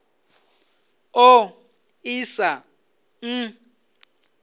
ḓ o ḓ isa n